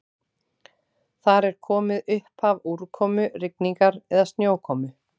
Þar er komið upphaf úrkomu, rigningar eða snjókomu.